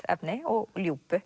efni og